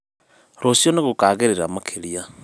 rũciũ nīgũkagĩrĩra makĩria